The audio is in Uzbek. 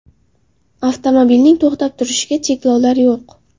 Avtomobilning to‘xtab turishiga cheklovlar yo‘q.